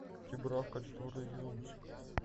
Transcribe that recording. чебурашка четвертый сезон